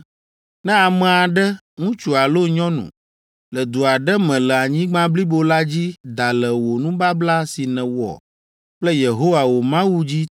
“Ne ame aɖe, ŋutsu alo nyɔnu, le du aɖe me le anyigba blibo la dzi da le wò nubabla si nèwɔ kple Yehowa wò Mawu dzi